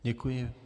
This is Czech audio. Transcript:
Děkuji.